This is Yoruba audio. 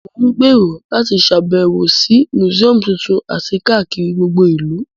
Mo n gbèrò láti sàbẹ̀wò si museum tuntun àti kakiri gbogbo ìlú